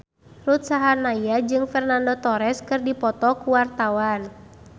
Ruth Sahanaya jeung Fernando Torres keur dipoto ku wartawan